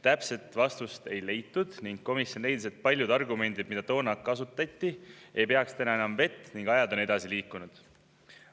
Täpset vastust ei leitud ning komisjon arvas, et paljud argumendid, mida toona kasutati, ei peaks täna enam vett, sest aeg on edasi liikunud.